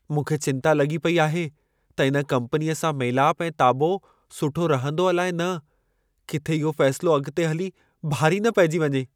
मूंखे चिंता लॻी पेई आहे त इन कम्पनीअ सां मेलाप ऐं ताबो सुठो रहंदो अलाइ न। किथे इहो फ़ैसिलो अॻिते हली भारी न पइजी वञे।